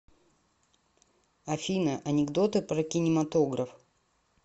афина анекдоты про кинематограф